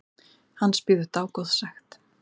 Hans bíður dágóð sekt.